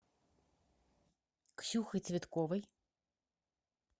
ксюхой цветковой